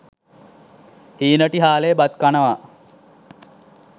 හීනටි හාලේ බත් කනවා.